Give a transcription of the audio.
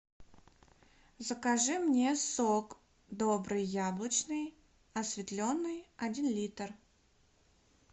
закажи мне сок добрый яблочный осветленный один литр